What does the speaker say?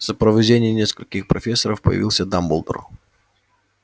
в сопровождении нескольких профессоров появился дамблдор